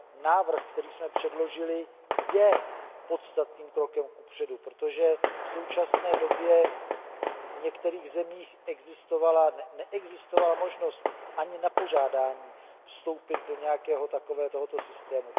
návrh, který jsme předložili, je podstatným krokem kupředu, protože v současné době v některých zemích neexistovala možnost ani na požádání vstoupit do nějakého takového systému.